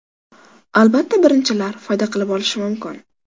Albatta, birinchilar foyda qilib qolishi mumkin.